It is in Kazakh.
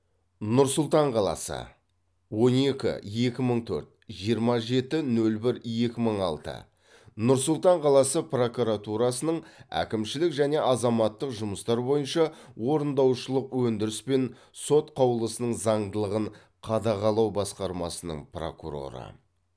нұр сұлтан қаласы он екі екі мың төрт жиырма жеті нөл бір екі мың алты нұр сұлтан қаласы прокуратурасының әкімшілік және азаматтық жұмыстар бойынша орындаушылық өндіріс пен сот қаулысының заңдылығын қадағалау басқармасының прокуроры